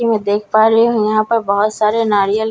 कि मैं देख पा रही हूं यहां पर बहुत सारे नारियल--